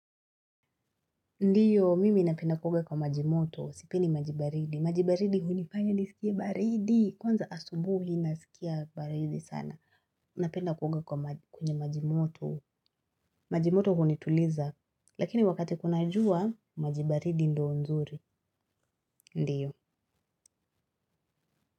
Ndiyo, mimi napenda kuoga kwa maji moto. Sipendi maji baridi. Maji baridi hunifanya nisikie baridi. Kwanza asubuhi nasikia baridi sana. Napenda kuoga kwa kwenye majimoto. Majimoto hunituliza. Lakini wakati kuna jua, maji baridi ndio nzuri. Ndiyo.